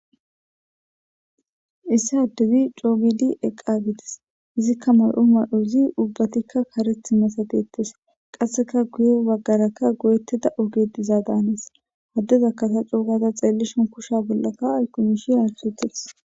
issi addezi cogidi eqqagitis izikka may7o ma7ozi ubbatikka kareth masatettes qasseka guye baggaraka goyettida ogedizaa daanis addeza kasa cuugata xeellishon kusha bollaka ayqqumishi hasetes